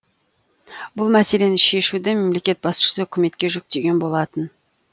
бұл мәселені шешуді мемлекет басшысы үкіметке жүктеген болатын